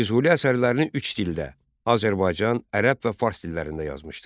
Füzuli əsərlərini üç dildə: Azərbaycan, ərəb və fars dillərində yazmışdır.